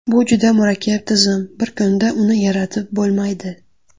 Bu juda murakkab tizim, bir kunda uni yaratib bo‘lmaydi.